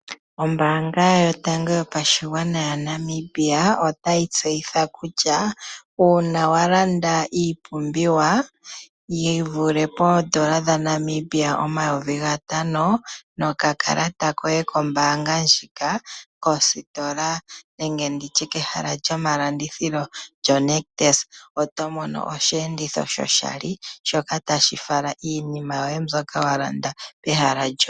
Ombaanga yotango yopashigwana moNamibia otayi tseyitha kutya, uuna walanda iinima yi vulithe poondola oma5000 nokakalata koye kombaanga kositola yoNictus, oto mono osheenditho shoshali tashi fala iinima yoye mbyono walanda kegumbo.